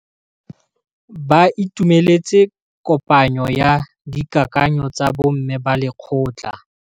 Ba itumeletse kôpanyo ya dikakanyô tsa bo mme ba lekgotla.